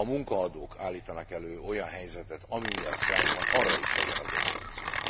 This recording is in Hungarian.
Ha a munkaadók állítanak elő olyan helyzetet, ami miatt sztrájk van, arra is legyen azért szankció.